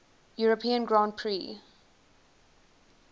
european grand prix